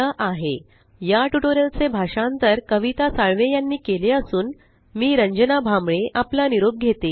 spoken tutorialorgnmeict intro या tutorial चे भाषांतर आवाज कविता साळवे यानी केले असून आवाज रंजना भांबळे यांचा आहे